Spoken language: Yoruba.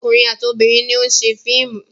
Ọkùnrin àti obìnrin ni ó ń ṣe fíìmù.